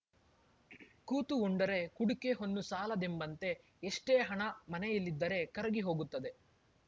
ಕೂತು ಉಂಡರೆ ಕುಡಿಕೆ ಹೊನ್ನು ಸಾಲದೆಂಬಂತೆ ಎಷ್ಟೇ ಹಣ ಮನೆಯಲ್ಲಿದ್ದರೆ ಕರಗಿ ಹೋಗುತ್ತದೆ